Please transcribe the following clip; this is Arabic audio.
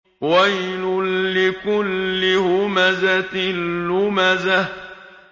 وَيْلٌ لِّكُلِّ هُمَزَةٍ لُّمَزَةٍ